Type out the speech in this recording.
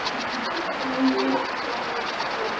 Búðin myrkvaðist og dömurnar hljóðuðu upp fyrir sig.